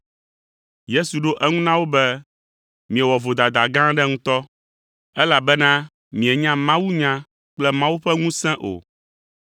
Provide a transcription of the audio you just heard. Yesu ɖo eŋu na wo be, “Miewɔ vodada gã aɖe ŋutɔ, elabena mienya mawunya kple Mawu ƒe ŋusẽ o.